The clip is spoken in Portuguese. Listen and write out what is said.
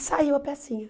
E saiu a pecinha.